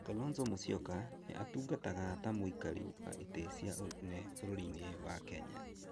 Kalonzo Musyoka nĩ atungataga ta mũikarĩri wa itĩ cia ũnene bũrũri-inĩ wa Kenya.